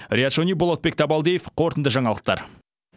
риат шони болатбек табалдиев қорытынды жаңалықтар